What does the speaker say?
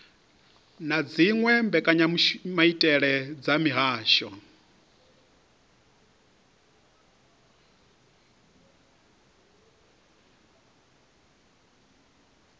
na dziwe mbekanyamaitele dza mihasho